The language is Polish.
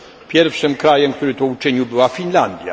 Pierwszym krajem, który to uczynił, była Finlandia.